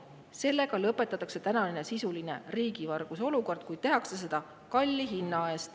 Sellega lõpetatakse sisuline riigivarguse olukord, kuid tehakse seda kalli hinna eest.